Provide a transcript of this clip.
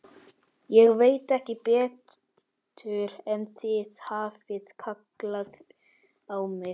Ég veit ekki betur en þið hafið kallað á mig.